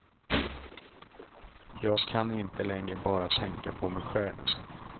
Jag kan inte längre bara tänka på mig själv.